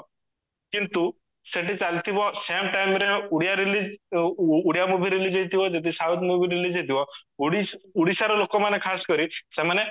କିନ୍ତୁ ସେଠି ଚାଲିଥିବ same timeରେ Odia release Odia movie release ହେଇଥିବ ଯଦି south movie release ହେଇଥିବ ଓଡିଶା ଓଡିଶାର ଲୋକ ମାନେ ଖାସ କରି ସେମାନେ